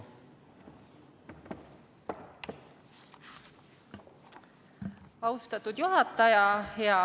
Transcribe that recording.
Austatud juhataja!